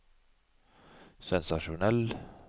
sensasjonell